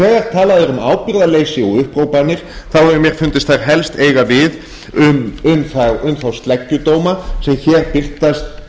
þegar talað er um ábyrgðarleysi og upphrópanir þá hefur mér fundist þær helst eiga við um þá sleggjudóma sem hér birtast